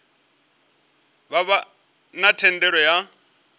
vha vha na thendelo ya